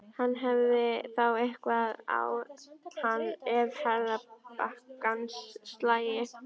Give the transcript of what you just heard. Hann hefði þá eitthvað á hann, ef í harðbakkann slægi.